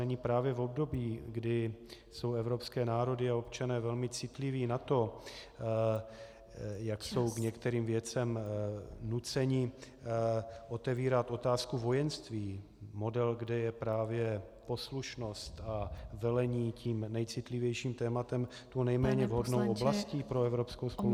Není právě v období, kdy jsou evropské národy a občané velmi citliví na to , jak jsou k některým věcem nuceni, otevírat otázku vojenství, model, kde je právě poslušnost a velení tím nejcitlivějším tématem, tou nejméně vhodnou oblastí pro evropskou spolupráci?